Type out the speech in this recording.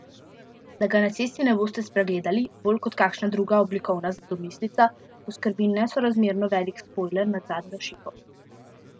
Da ga na cesti ne boste spregledali, bolj kot kakšna druga oblikovna domislica poskrbi nesorazmerno velik spojler nad zadnjo šipo.